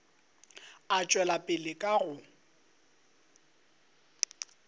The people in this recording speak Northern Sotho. a tšwela pele ka go